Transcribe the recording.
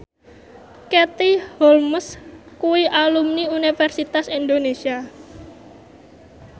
Katie Holmes kuwi alumni Universitas Indonesia